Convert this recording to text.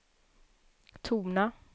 tona